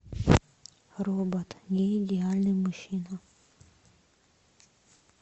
робот не идеальный мужчина